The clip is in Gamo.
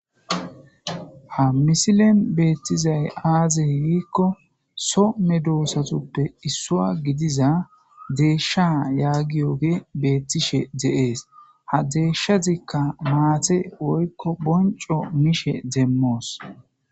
Ha misilen beettizay aazey giikko some doossatuppe issua gidiza deeshsha yaagiyoge beettishe deees ha deeshshazikka maate woykko bonco mishe demmoos